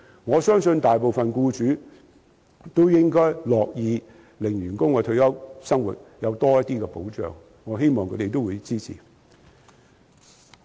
我相信大部分僱主都樂意讓員工的退休生活得到多些保障，我希望他們會支持我的建議。